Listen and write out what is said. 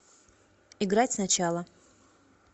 играть сначала